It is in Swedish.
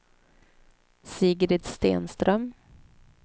Sigrid Stenström